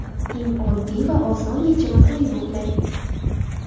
Eng oddiy va oson yechim to‘yib uxlang.